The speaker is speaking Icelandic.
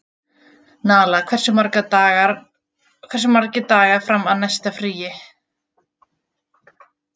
Nala, hversu margir dagar fram að næsta fríi?